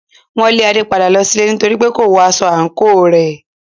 Wọn lé Ade padà lọ sílé nítorípé kò wọ aṣọ àǹkóò rẹ̀.